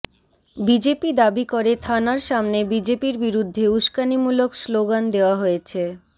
BJP দাবি করে থানার সামনে বিজেপির বিরুদ্ধে উস্কানিমূলক স্লোগান দেওয়া হয়েছে